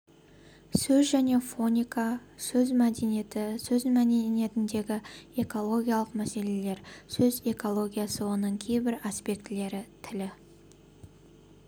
сөз және фоника сөз мәдениеті сөз мәдениетіндегі экологиялық мәселелер сөз экологиясы оның кейбір аспектілері тіл